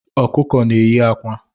Ọkụkọ na enyi akwa